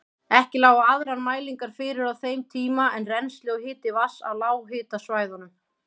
Ekki lágu aðrar mælingar fyrir á þeim tíma en rennsli og hiti vatns á lághitasvæðunum.